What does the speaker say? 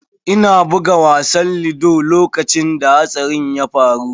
Ina buga wasan ludo lokacin da hatsarin ya faru.